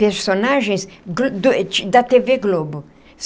Personagens da tê vê Globo.